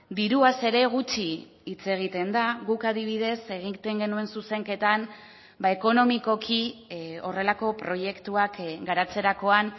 diruaz ere gutxi hitz egiten da guk adibidez egiten genuen zuzenketan ekonomikoki horrelako proiektuak garatzerakoan